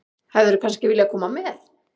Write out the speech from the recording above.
Hefðirðu kannski viljað koma með?